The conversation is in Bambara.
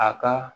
A ka